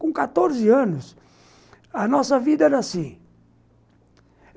Com quatorze anos, a nossa vida era assim.